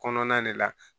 Kɔnɔna de la